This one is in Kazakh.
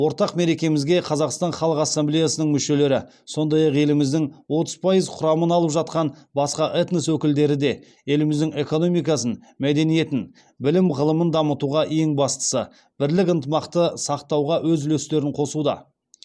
ортақ мерекемізге қазақстан халық ассамблеясының мүшелері сондай ақ еліміздің отыз пайыз құрамын алып жатқан басқа этнос өкілдері де еліміздің экономикасын мәдениетін білім ғылымын дамытуға ең бастысы бірлік ынтымақты сақтауға өз үлестерін қосуда